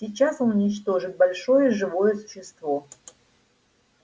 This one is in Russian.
сейчас он уничтожит большое живое существо